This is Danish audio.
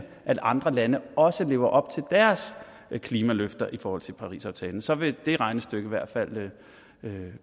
at andre lande også lever op til deres klimaløfter i forhold til parisaftalen for så vil det regnestykke i hvert fald